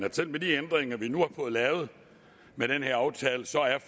at selv med de ændringer vi nu fået lavet med den her aftale så er